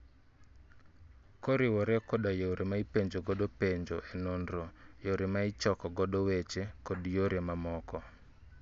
Koriwore koda yore ma ipenjo godo penjo e nonro, yore ma ichoko godo weche, kod yore mamoko